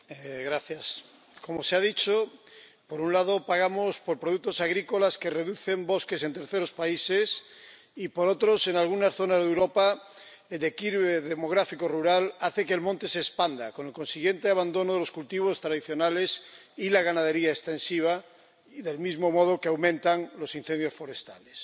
Señor presidente, como se ha dicho, por un lado, pagamos por productos agrícolas que reducen bosques en terceros países y, por otro, en algunas zonas de Europa el declive demográfico rural hace que el monte se expanda, con el consiguiente abandono de los cultivos tradicionales y la ganadería extensiva, del mismo modo que aumentan los incendios forestales.